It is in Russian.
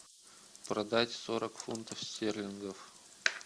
продать сорок фунтов стерлингов